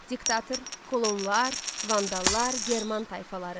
Dikta, kolonlar, vandallar, german tayfaları.